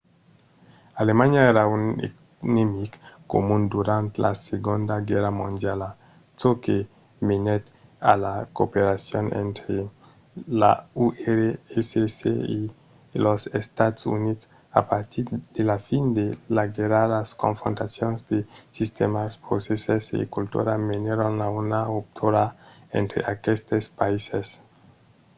alemanha èra un enemic comun durant la segonda guèrra mondiala çò que menèt a la cooperacion entre l’urss e los estats units. a partir de la fin de laguèrra las confrontacions de sistèmas procèsses e cultura menèron a una ruptura entre aquestes païses